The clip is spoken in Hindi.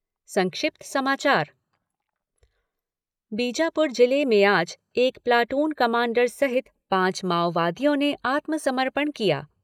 संक्षिप्त समाचार बीजापुर जिले में आज एक प्लाटून कमांडर सहित पांच माओवादियों ने आत्मसमर्पण किया।